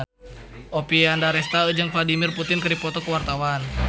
Oppie Andaresta jeung Vladimir Putin keur dipoto ku wartawan